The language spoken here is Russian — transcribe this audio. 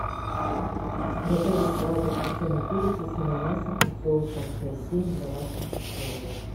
готовить салат из копченной курицы с ананасом и соусом хойсин в домашних условиях